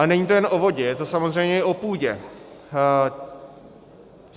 Ale není to jenom o vodě, je to samozřejmě i o půdě.